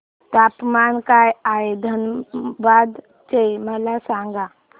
तापमान काय आहे धनबाद चे मला सांगा